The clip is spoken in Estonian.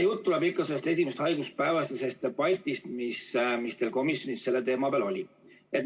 Juttu tuleb ikka sellest esimest haiguspäevast ja debatist, mis teil komisjonis sel teemal oli.